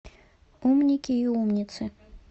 умники и умницы